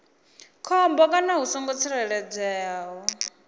khombo kana hu songo tsireledzeaho